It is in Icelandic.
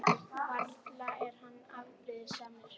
Varla er hann afbrýðisamur?